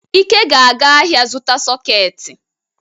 Ike ga-aga ahia zuta sọketị.